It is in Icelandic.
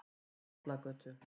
Bollagötu